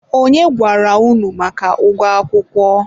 onye gwara unu maka ụgwọ akwụkwọ?